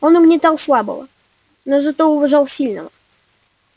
он угнетал слабого но зато уважал сильного